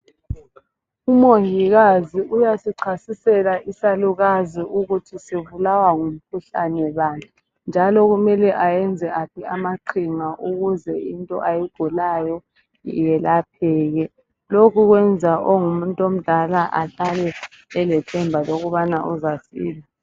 Umongikazi uyasichasisela isalukazi ukuthi sibulawa ngumkuhlane bani njalo kumele ayenze aphi amaqhinga ukuze into ayigulayo yelapheka. Lokhu kwenza ongumuntu omdala ahlale elethemba lokubana uzasila